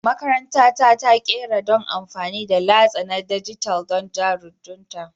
Makaranta ta ta ƙera don amfani da latsa na dijital don jaridunta